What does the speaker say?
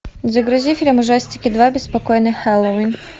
загрузи фильм ужастики два беспокойный хэллоуин